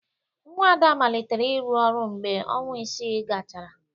Nwa Ada malitere ịrụ ọrụ mgbe ọnwa isii gachara.